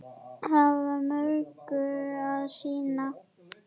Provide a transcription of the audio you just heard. Hafa mörgu að sinna.